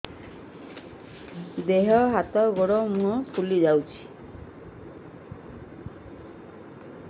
ଦେହ ହାତ ଗୋଡୋ ମୁହଁ ଫୁଲି ଯାଉଛି